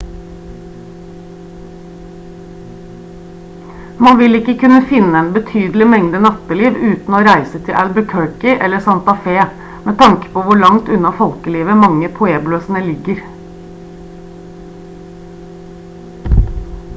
man vil ikke kunne finne en betydelig mengde natteliv uten å reise til albuquerque eller santa fe med tanke på hvor langt unna folkelivet mange av pueblosene ligger